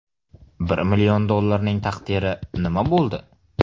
Bir million dollarning taqdiri nima bo‘ldi?